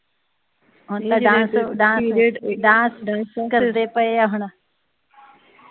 dance ਕਰਦੇ ਪਏ ਆ ਹੁਣ